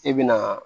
E bɛ na